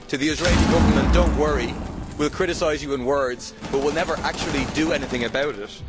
To the Israeli Government do not worry, we will criticise you in words but will never actually do anything about it.